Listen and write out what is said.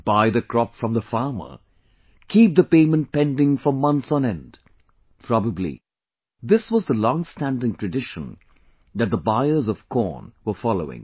Buy the crop from the farmer, keep the payment pending for months on end ; probably this was the long standing tradition that the buyers of corn were following